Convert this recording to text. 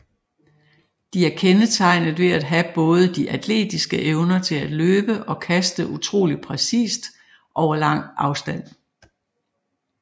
De er kendetegnet ved at have både de atletiske evner til at løbe og kaste utroligt præcist over lang afstand